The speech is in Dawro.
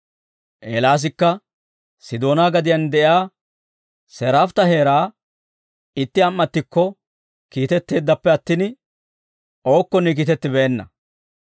Eelaasikka Sidoonaa gadiyaan de'iyaa Seraafta heeraa itti am"attikko kiitetteeddappe attin ookkonne kiitettibeenna.